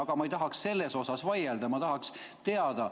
Aga ma ei tahaks selle üle vaielda, ma tahaks teada.